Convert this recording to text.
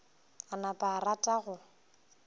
a napa a rata go